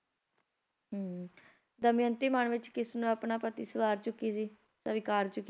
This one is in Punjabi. ਹਮ ਦਮਿਅੰਤੀ ਮਨ ਵਿੱਚ ਕਿਸਨੂੰ ਆਪਣਾ ਪਤੀ ਸਵਾਰ ਚੁੱਕੀ ਸੀ ਸਵੀਕਾਰ ਚੁੱਕੀ ਸੀ ਨਲ